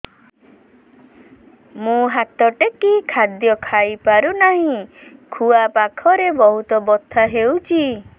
ମୁ ହାତ ଟେକି ଖାଦ୍ୟ ଖାଇପାରୁନାହିଁ ଖୁଆ ପାଖରେ ବହୁତ ବଥା ହଉଚି